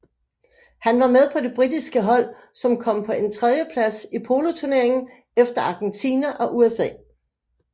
Han var med på det britiske hold som kom på en tredjeplads i poloturneringen efter Argentina og USA